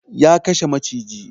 Ya kashe maciji